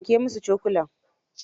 Wanke musu cokalin.